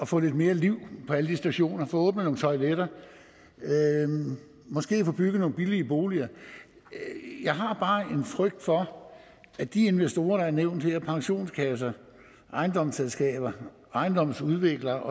få lidt mere liv på alle de stationer få åbnet nogle toiletter og måske få bygget nogle billige boliger jeg har bare en frygt for at de investorer der er nævnt her pensionskasser ejendomsselskaber ejendomsudviklere